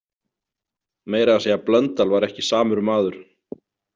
Meira að segja Blöndal var ekki samur maður.